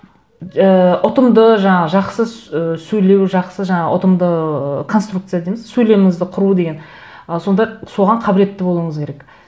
ыыы ұтымды жаңағы жақсы ы сөйлеу жақсы жаңағы ұтымды конструкция дейміз сөйлеміңізді құру деген ы сонда соған қабілетті болуыңыз керек